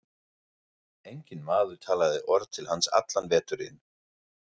Enginn maður talaði orð til hans allan veturinn.